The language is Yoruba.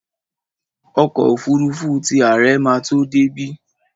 Ọkọ́ òfurufú ti àre ma tó débí.